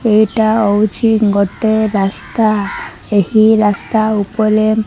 ଏଇଟା ହୋଉଛି ଗୋଟେ ରାସ୍ତା ଏହି ରାସ୍ତା ଉପଲେ --